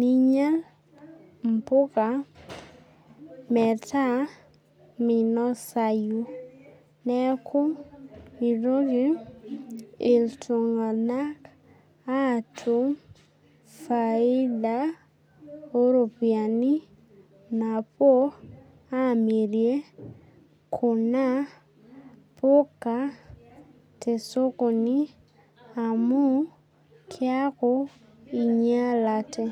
ninya impuka meeta minosai. Neeku mitoki iltung'ana atum faida oo ropiani tenepuo amir kuna puka te sokoni amuu keeku inyalate.